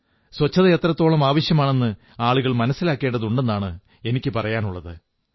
ശുചിത്വം എത്രത്തോളം ആവശ്യമാണെന്ന് ആളുകൾ മനസ്സിലാക്കേണ്ടതുണ്ടെന്നാണ് എനിക്കു പറയാനുള്ളത്